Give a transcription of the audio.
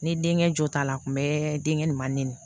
Ne denkɛ jo t'a la a kun bɛ denkɛ ni manin